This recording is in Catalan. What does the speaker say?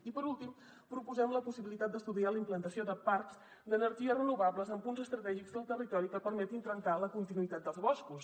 i per últim proposem la possibilitat d’estudiar la implantació de parcs d’energies renovables en punts estratègics del territori que permetin trencar la continuïtat dels boscos